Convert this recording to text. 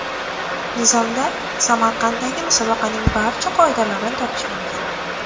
Nizomda Samarqanddagi musobaqaning barcha qoidalarini topish mumkin .